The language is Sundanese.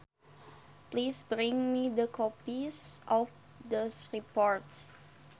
Please bring me the copies of those reports